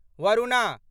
Varuna